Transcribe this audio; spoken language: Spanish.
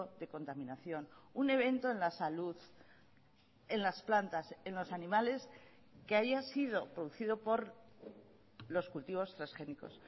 de contaminación un evento en la salud en las plantas en los animales que haya sido producido por los cultivos transgénicos